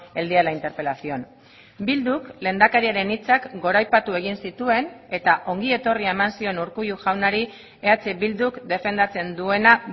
el día de la interpelación bilduk lehendakariaren hitzak goraipatu egin zituen eta ongietorria eman zion urkullu jaunari eh bilduk defendatzen duena